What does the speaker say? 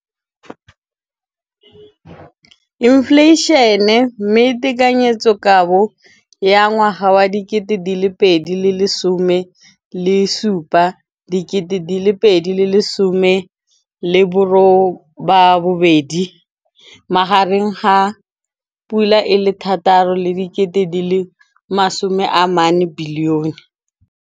Infleišene, mme tekanyetsokabo ya 2017, 18, e magareng ga R6.4 bilione.